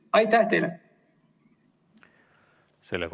Aitäh teile!